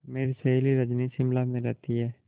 मेरी सहेली रजनी शिमला में रहती है